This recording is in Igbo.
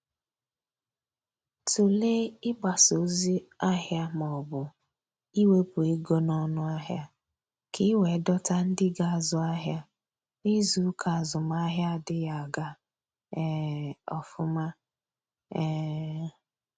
Tụlee ịgbasa ozi ahịa maọbụ iwepụ ego n'ọnụ ahịa, ka i wee dọta ndị ga-azụ ahịa n'izuuka azụmahịa adịghị aga um ofuma. um